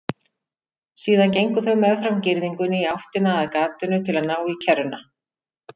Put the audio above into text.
Síðan gengu þau meðfram girðingunni í áttina að gatinu til að ná í kerruna.